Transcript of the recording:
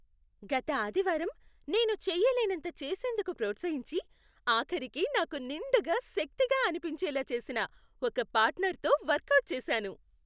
గత ఆదివారం నేను చేయలేనంత చేసేందుకు ప్రోత్సహించి, ఆఖరికి నాకు నిండుగా శక్తిగా అనిపించేలా చేసిన ఒక పార్ట్నర్తో వర్కౌట్ చేశాను.